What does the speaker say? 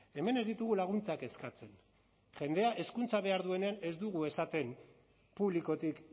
hemen ez ditugu laguntzak eskatzen jendea hezkuntza behar duenean ez dugu esaten publikotik